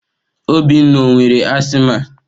Obinna ọ nwere asiịma?